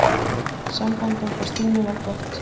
Samband okkar Stínu var gott.